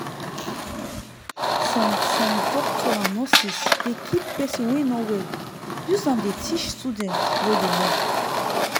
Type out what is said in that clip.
some some doctor and nurses dey keep person wey no well use am dey teach student we dey learn.